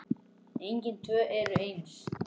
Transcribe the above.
Engin tvö eru eins.